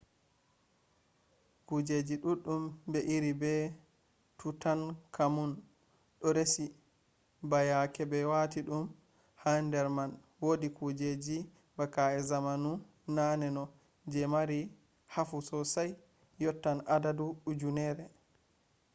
kujeji ɗuɗɗum ɓe iri be tutankamun ɗo resi ba yake ɓe wati ɗum ha nder man wodi kujeji be ka’e zamanu naneno je mari hafu sosai yottatn adadu ujunerre